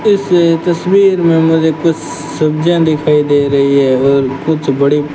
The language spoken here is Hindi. इस तस्वीर में मुझे कुछ सब्जियां दिखाई दे रही हैं और कुछ बड़ी--